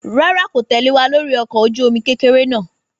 Rárá kò tẹ̀lẹ́ wa lórí ọkọ̀ ojú omi kékeré náà